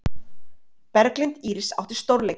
Berglind Íris átti stórleik